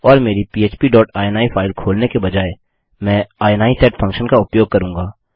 और मेरी पह्प डॉट इनी फाइल खोलने के बजाय मैं इनी सेट फंक्शन का उपयोग करूँगा